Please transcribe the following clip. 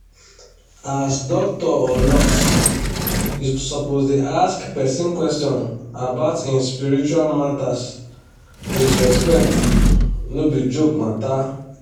as doctor or nurse you suppose da ask person question about him spiritual matters wid respect no be joke matter